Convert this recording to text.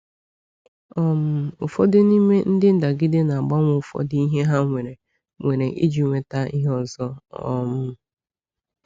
um Ụfọdụ n’ime ndị ndagide na-agbanwe ụfọdụ ihe ha nwere nwere iji nweta ihe ọzọ. um